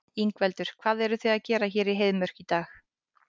Ingveldur: Hvað eruð þið að gera hér í Heiðmörk í dag?